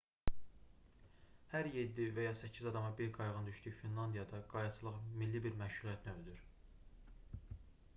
hər 7 və ya 8 adama bir qayığın düşdüyü finlandiyada qayıqçılıq milli bir məşğuliyyət növüdür